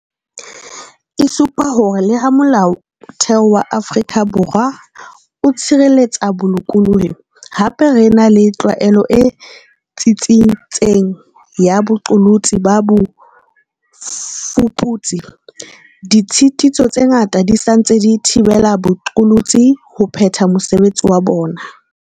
E supa hore le ha Molao wa Motheo wa Afrika Borwa o tshireletsa bolokolohi, hape re ena le tlwaelo e tsitsitseng ya boqolotsi ba bofuputsi, ditshitiso tse ngata di sa ntse di thibela baqolotsi ho phetha mosebetsi wa bona.